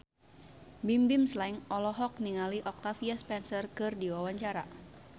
Bimbim Slank olohok ningali Octavia Spencer keur diwawancara